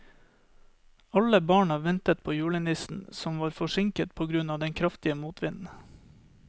Alle barna ventet på julenissen, som var forsinket på grunn av den kraftige motvinden.